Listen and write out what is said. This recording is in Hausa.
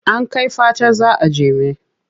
An kai fatar za a jeme.